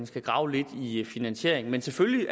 skal grave lidt i i finansieringen men selvfølgelig